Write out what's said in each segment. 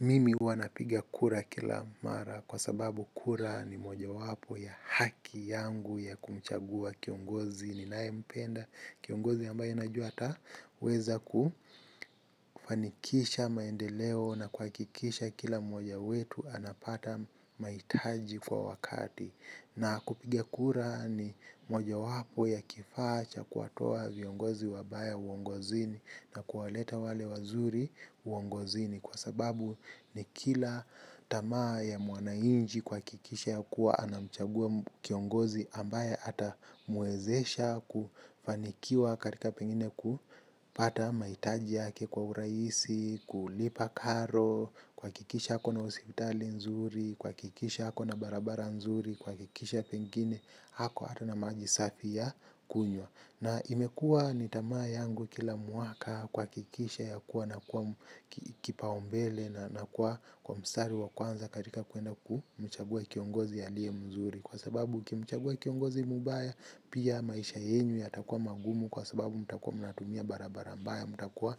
Mimi huwa napigia kura kila mara kwa sababu kura ni mojawapo ya haki yangu ya kumchagua kiongozi ninayempenda. Kiongozi ambaye najua ata weza kufanikisha maendeleo na kuhakikisha kila mmoja wetu anapata mahitaji kwa wakati. Na kupiga kura ni mojawapo ya kifaa cha kuwatoa viongozi wabaya uongozini na kuwaleta wale wazuri uongozini kwa sababu ni kila tamaa ya mwananchi kuhakikisha kuwa anamchagua kiongozi ambaye atamwezesha kufanikiwa katika pengine kupata mahitaji yake kwa urahisi, kulipa karo kuhakikisha ako hospitali nzuri, kuhakikisha ako na barabara nzuri kuhakikisha pengine ako hata na maji safi ya kunywa. Na imekuwa ni tamaa yangu kila mwaka kuhakikisha yakuwa na kuwa kipaumbele na kuwa kwa mstari wa kwanza katika kuenda kumchagua kiongozi aliye mzuri. Kwa sababu ukimchagua kiongozi mbaya pia maisha yenyu yatakuwa magumu kwa sababu mtakuwa mnatumia barabara mbaya. Mtakuwa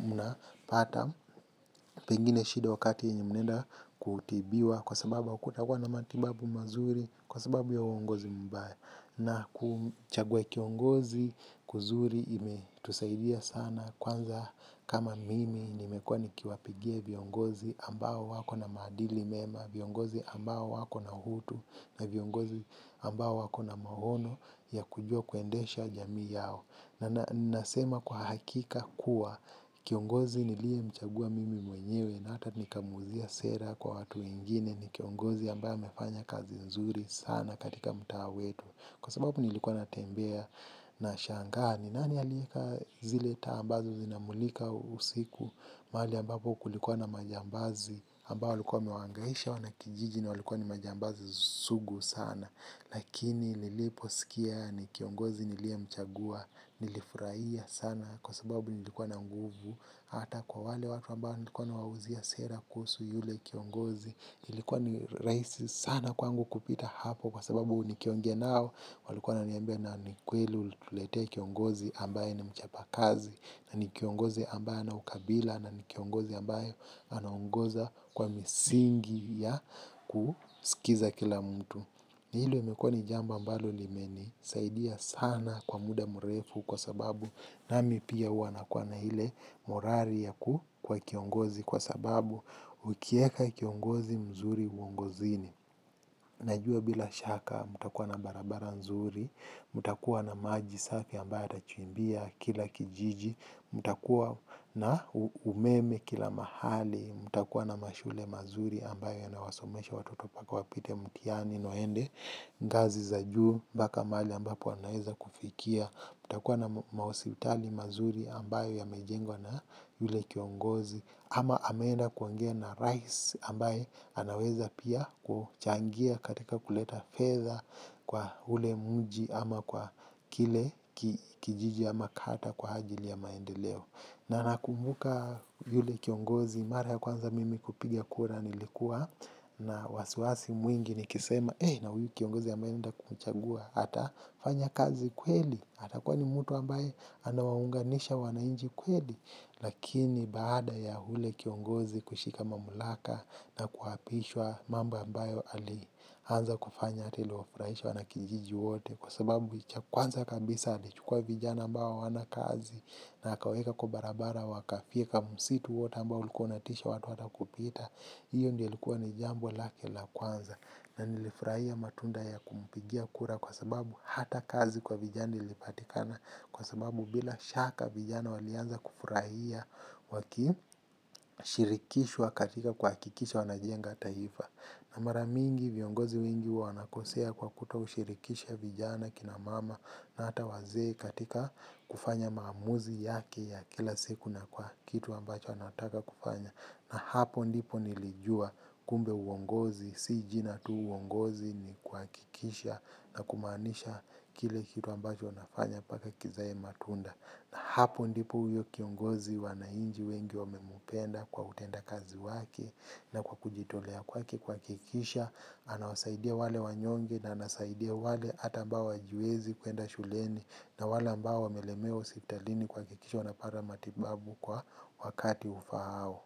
mnapata pengine shida wakati yenye mnaenda kutibiwa kwa sababu hakutakuwa na matibabu mazuri kwa sababu ya uongozi mbaya. Na kumchagua kiongozi kuzuri imetusaidia sana kwanza kama mimi nimekuwa nikiwapigia viongozi ambao wako na madili mema, viongozi ambao wako na utu na viongozi ambao wako na maono ya kujua kuendesha jamii yao. Na nasema kwa hakika kuwa kiongozi niliyemchagua mimi mwenyewe na hata nikamwuliza sera kwa watu wegine ni kiongozi ambaye amefanya kazi nzuri sana katika mtaa wetu. Kwa sababu nilikuwa natembea nashangaa ni. Nani alieka zile taa ambazo zinamulika usiku mahali ambapo kulikuwa na majambazi ambao walikuwa wamewangaisha wanakijijini na walikuwa ni majambazi sugu sana. Lakini niliposikia ni kiongozi niliyemchagua nilifurahia sana kwa sababu nilikuwa na nguvu. Hata kwa wale watu ambao nilikuwa nawauzia sera kuhusu yule kiongozi nilikuwa ni rahisi sana kwangu kupita hapo kwa sababu nikiongea nao walikuwa wananiambia na ni kweli ulituletea kiongozi ambaye ni mchapa kazi. Na ni kiongozi ambaye hana ukabila na ni kiongozi ambaye anaongoza kwa misingi ya kusikiza kila mtu. Ni hilo limekuwa ni jambo ambalo limenisaidia sana kwa muda mrefu kwa sababu nami pia huwa nakuwa na ile morali ya ku kuwa kiongozi kwa sababu ukieka kiongozi mzuri uongozini. Najua bila shaka, mtakuwa na barabara nzuri, mtakuwa na maji safi ambayo atachimbia kila kijiji, mtakuwa na umeme kila mahali, mumtakuwa na mashule mazuri ambayo yanawasomesha watoto mpaka wapite mtihani, na waende, kazi za juu, mpaka mahali ambapo anaweza kufikia, mtakuwa na mahospitali mazuri ambayo yamejengwa na yule kiongozi, ama ameenda kuongea na rais ambaye anaweza pia kuchangia katika kuleta fedha kwa ule mji ama kwa kile kijiji ama kata kwa ajili ya maendeleo. Na nakumbuka yule kiongozi mara ya kwanza mimi kupiga kura nilikuwa na wasiwasi mwingi nikisema eh na huyu kiongozi ambaye naenda kumchagua. Atafanya kazi kweli atakuwa ni mtu ambaye anawaunganisha wananchi kweli. Lakini baada ya ule kiongozi kushika mamlaka na kuapishwa mambo ambayo alianza kufanya hata iliwafurahisha wanakijiji wote. Kwa sababu cha kwanza kabisa alichukua vijana ambao hawana kazi. Na akawaeka kwa barabara wakafyeka msitu wote ambao ulikuwa unatisha watu hata kupita. Hiyo ndiyo ilikuwa ni jambo lake la kwanza na nilifurahia matunda ya kumpigia kura kwa sababu hata kazi kwa vijana ilipatikana kwa sababu bila shaka vijana walianza kufurahia shirikishwa katika kuhakikisha wanajenga taifa. Na maramingi viongozi wengi wanakosea kwa kutoshirikisha vijana kina mama. Na hata wazee katika kufanya maamuzi yake ya kila siku na kwa kitu ambacho wanataka kufanya. Na hapo ndipo nilijua kumbe uongozi, si jina tu uongozi ni kuhakikisha na kumaanisha kile kitu ambacho nafanya mpaka kizae matunda. Na hapo ndipo huyo kiongozi wananchi wengi wamempenda kwa utenda kazi wake na kwa kujitolea kwake kuhakikisha. Anawasaidia wale wanyonge na anasaidia wale hata ambao hawajiwezi kuenda shuleni na wale ambao wamelemewa hospitalini kuhakikisha wanapata matibabu kwa wakati ufaao.